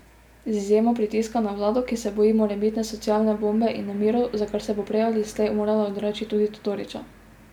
Z izjemo pritiska na vlado, ki se boji morebitne socialne bombe in nemirov, za kar se bo prej ali slej morala odreči tudi Todorića.